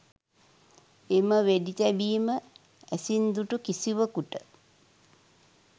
එම වෙඩි තැබීම ඇසින් දුටු කිසිවෙකුට